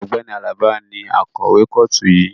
Ọ̀gbẹ́ni Alaba ni akọ̀wé kọ́ọ̀tù yìí